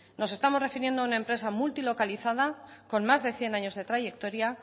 nos estamos refiriendo a una empresa multilocalizada con más de cien años de trayectoria